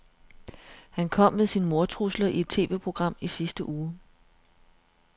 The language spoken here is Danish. Han kom med sine mordtrusler i et TVprogram i sidste uge.